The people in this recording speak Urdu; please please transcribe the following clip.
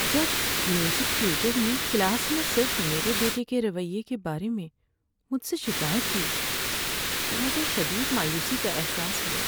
جب میوزک ٹیوٹر نے کلاس میں صرف میرے بیٹے کے رویے کے بارے میں مجھ سے شکایت کی تو مجھے شدید مایوسی کا احساس ہوا۔